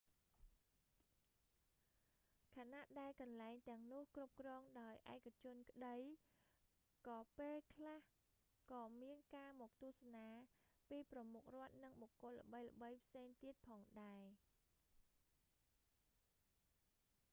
ខណៈដែលកន្លែងទាំងនោះគ្រប់គ្រងដោយឯកជនក្តី ក៏ពេលខ្លះក៏មានការមកទស្សនាពីប្រមុខរដ្ឋ និងបុគ្គលល្បីៗផ្សេងទៀតផងដែរ